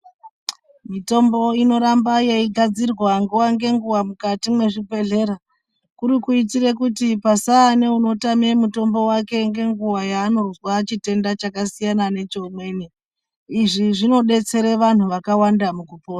Mitombo inoramba yeigadzirwa nguwa ngenguwa mukati mezvibhedhlera, kuri kuyitire kuti pasaa neanotama mutombo wake ngenguwa yaanozwa chitenda chakasiyana necheumweni, izvi zvinodetsera vanhu vakawanda mukupona.